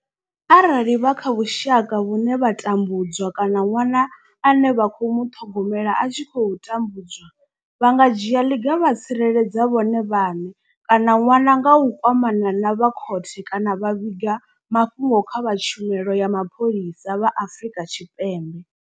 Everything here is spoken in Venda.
Arali vha kha vhusha ka vhune vha tambu dzwa kana ṅwana ane vha khou muṱhogomela a tshi khou tambudzwa, vha nga dzhia ḽiga vha tsireledza vhone vhaṋe kana ṅwana nga u kwamana na vha khothe kana vha vhiga mafhungo kha vha tshumelo ya mapholisa vha Afrika Tshipembe.